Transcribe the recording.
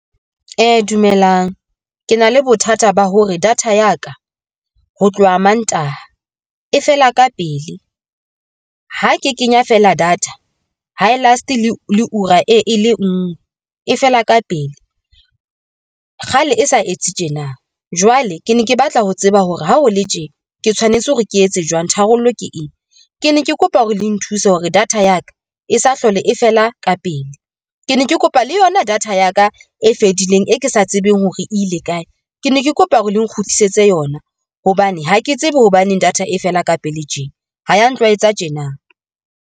Dumelang, ke na le bothata ba hore data ya ka ho tloha Mantaha e fela ka pele, ha ke kenya fela data ha e last-ele ura e le ngwe e fela ka pele, kgale e sa etse tjena. Jwale ke ne ke batla ho tseba hore ha ho le tjena ke tshwanetse hore ke etse jwang tharollo ke eng? Ke ne ke kopa hore le nthuse hore data ya ka e sa hlole e fela ka pele, ke ne ke kopa le yona data ya ka e fedileng e ke sa tsebeng hore ile kae, ke ne ke kopa hore le nkgutlisetse yona hobane ha ke tsebe hobaneng data e fela ka pele tjena ho ya ntshwaetsa tjena